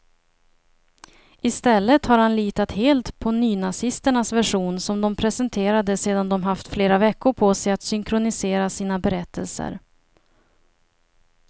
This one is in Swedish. I stället har han litat helt på nynazisternas version, som de presenterade sedan de haft flera veckor på sig att synkronisera sina berättelser.